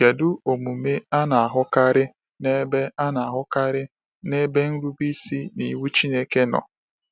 Kedu omume a na-ahụkarị n’ebe a na-ahụkarị n’ebe nrube isi n’iwu Chineke nọ?